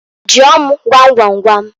Jụọ m gwam gwam gwam?